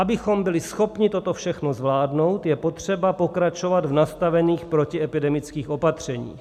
Abychom byli schopni toto všechno zvládnout, je potřeba pokračovat v nastavených protiepidemických opatřeních.